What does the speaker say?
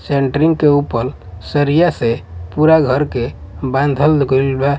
Centering के ऊपर सरिया से पूरा घर के बांधल गइल बा।